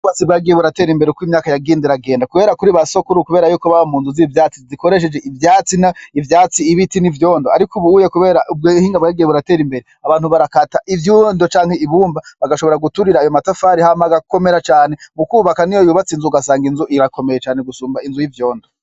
Batsi bagiye buratera imbere ko imyaka yagindera agenda, kubera kuri ba sokuru, kubera yukobaba mu ntu zi 'ivyatsi zikoresheje ivyatsi na ivyatsi ibiti n'ivyondo, ariko ubuuye, kubera ubwo hingabyagiye buratera imbere abantu barakata ivyoundo canke ibumba bagashobora guturira ayo matafari hamagakomera cane mu kwubaka ni yo yubatsi inzu gasanga inzu irakomeye cane gusumba inzu y'ivyondo.